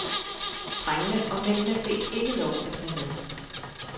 Drengene og mændene fik ikke lov at tage med.